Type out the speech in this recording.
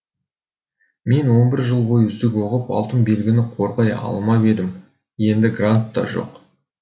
мен он бір жыл бойы үздік оқып алтын белгіні қорғай алмап едім енді грант та жоқ